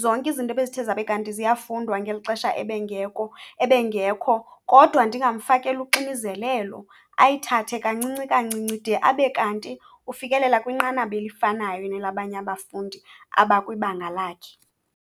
zonke izinto bezithe zabe kanti ziyafundwa ngeli xesha ebengekho, kodwa ndingafakeli uxinizelelo. Ayithathe kancinci kancinci de abe kanti ufikelela kwinqanaba elifanayo nelabanye abafundi abakwibanga lakhe.